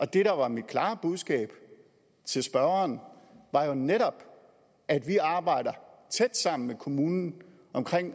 det der var mit klare budskab til spørgeren var jo netop at vi arbejder tæt sammen med kommunen om